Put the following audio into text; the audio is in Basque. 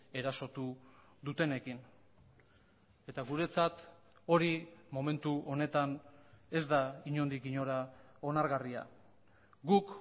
erasotu dutenekin eta guretzat hori momentu honetan ez da inondik inora onargarria guk